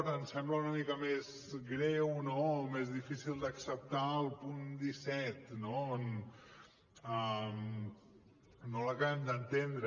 ens sembla una mica més greu o més difícil d’acceptar el punt disset que no l’acabem d’entendre